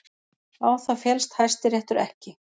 Á það féllst Hæstiréttur ekki